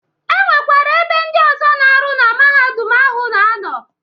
E nwekwara ebe ndị ọzọ na-arụ na Mahadum ahụ na anọ.